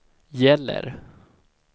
gäller